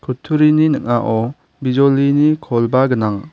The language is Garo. kutturini ning·ao bijolini krongba gnang.